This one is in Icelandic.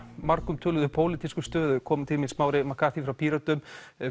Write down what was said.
margumtöluðu pólitísku stöðu komin til mín Smári McCarthy frá Pírötum